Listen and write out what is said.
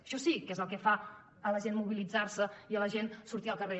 això sí que és el que fa a la gent mobilitzar se i a la gent sortir al carrer